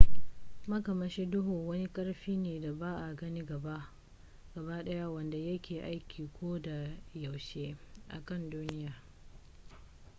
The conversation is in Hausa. makamashi duhu wani karfi ne da ba a gani gaba daya wanda ya ke aiki ko da yaushe a kan duniya